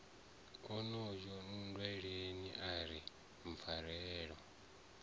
onoyo nndweleni a ri pfarelo